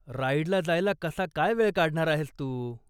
राईडला जायला कसा काय वेळ काढणार आहेस तू?